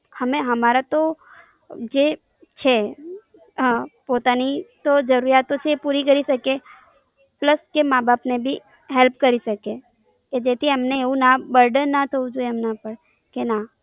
હમે હમારા તો જે છે, હા પોતાની તો જરૂરિયાતો છે એ પુરી કરી શકીએ પ્લસ કે માં બાપ ને બી Help કરી શકીએ કે જેથી એમને એવું બુરદાન ના થવું જોઈએ એમના પાર ના.